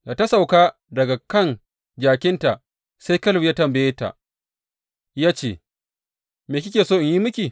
Da ta sauka daga kan jakinta sai Kaleb ya tambaye ta ya ce, Me kike so in yi miki?